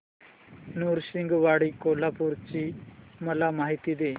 नृसिंहवाडी कोल्हापूर ची मला माहिती दे